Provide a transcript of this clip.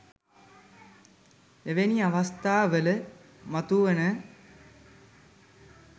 එවැනි අවස්ථාවල මතුවන